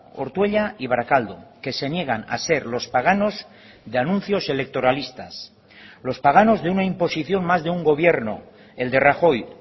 ortuella y barakaldo que se niegan a ser los paganos de anuncios electoralistas los paganos de una imposición más de un gobierno el de rajoy